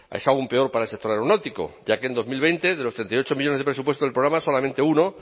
es aún peor para el sector aeronáutico ya que en dos mil veinte de los treinta y ocho millónes de presupuesto del programa solamente uno